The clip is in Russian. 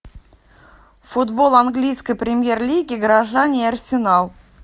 футбол английской премьер лиги горожане и арсенал